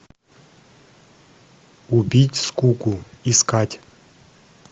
убить скуку искать